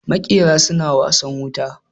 Makera suna wasan wuta